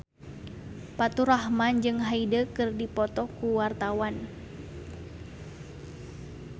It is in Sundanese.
Faturrahman jeung Hyde keur dipoto ku wartawan